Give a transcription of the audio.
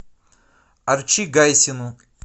арчи гайсину